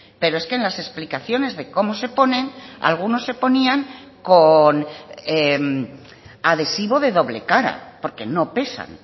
pero es que en las explicaciones de cómo se ponen algunos se ponían con adhesivo de doble cara porque no pesan